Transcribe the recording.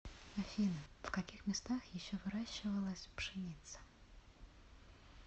афина в каких местах еще выращивалась пшеница